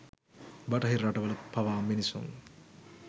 බටහිර රටවල පවා මිනිසුන්